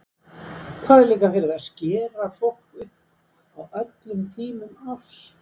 Hvað er líka verið að skera fólk upp á öllum tímum árs!